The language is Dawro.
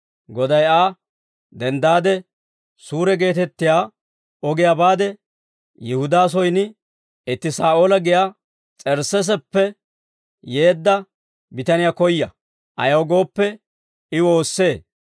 Goday Aa, «Denddaade Suure geetettiyaa ogiyaa baade, Yihudaa soyin itti Saa'oola giyaa S'ersseeseppe yeedda bitaniyaa koya; ayaw gooppe, I woossee.